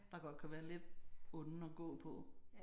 Der godt kan være lidt onde at gå på